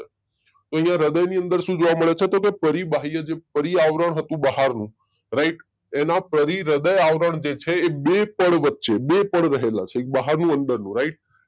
તો અહિયાં હૃદયની અંદર શું જોવા મળે છે કે પરી બાહ્ય જે પરી આવરણ હતું બહારનું રાઈટ એના પરીહૃદય આવરણ જે છે એ બે પળ વચ્ચે બે પળ રહેલા છે એક બહારનું એક અંદરનું રાઈટ